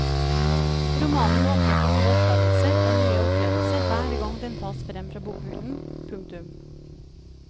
Romanen åpner for nye oppdagelser og nye opplevelser hver gang den tas frem fra bokhyllen. punktum